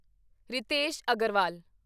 Ritesh Agarwal